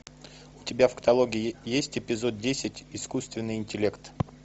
у тебя в каталоге есть эпизод десять искусственный интеллект